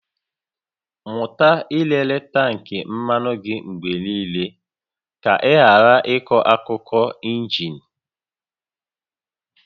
Mụta ịlele tank mmanụ gị mgbe niile, ka ị ghara ịkụ aka nke injin